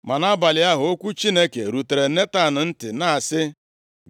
Ma nʼabalị ahụ, okwu Chineke rutere Netan ntị, na-asị,